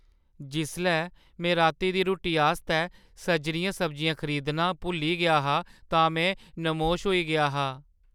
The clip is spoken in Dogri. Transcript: जिसलै में राती दी रुट्टी आस्तै सजरियां सब्जियां खरीदना भुल्ली गेआ हा तां में नमोश होई गेआ हा।